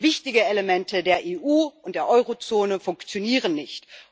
Wichtige Elemente der EU und der Eurozone funktionieren nicht